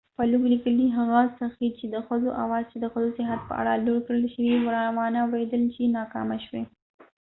فلوک لیکلي هغه هڅې چې د ښځو آواز چې ښځو د صحت په اړه لوړ کړای شوی وانه وریدل شي ناکامه شوې